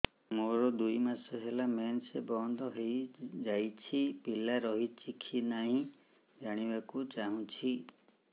ମୋର ଦୁଇ ମାସ ହେଲା ମେନ୍ସ ବନ୍ଦ ହେଇ ଯାଇଛି ପିଲା ରହିଛି କି ନାହିଁ ଜାଣିବା କୁ ଚାହୁଁଛି